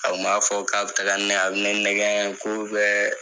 A kun b'a fɔ k'a be taga ni ne ye, a be ne nɛgɛɛn k'u bɛɛ